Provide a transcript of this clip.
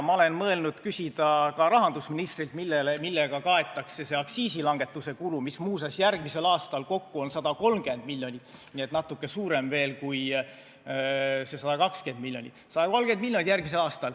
Ma olen mõelnud küsida ka rahandusministrilt, millega kaetakse see aktsiisilangetuse kulu, mis muuseas järgmisel aastal kokku on 130 miljonit, nii et natuke suurem veel kui see 120 miljonit.